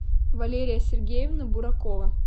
валерия сергеевна буракова